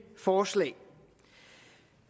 forslag